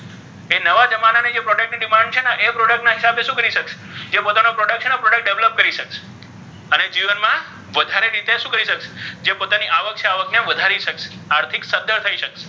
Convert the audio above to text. ઍ નવા જમાના ની product ની demand છે ઍ product નાખ્યા પછી શુ કરી શકૅ જે પોતાના product છે ને ઍ product develop શકાય છે અને જીવન મા વધારે શુ કરી શકશે જે પોતાની આવડત છે આવક ને વધારી શકશે આર્થીક સધ્ધર થઇ શકે.